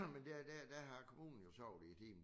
Men der i dag der har kommunen jo sovet i timen